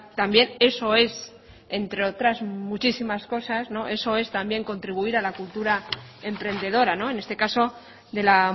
también eso es entre otras muchísimas cosas eso es también contribuir a la cultura emprendedora en este caso de la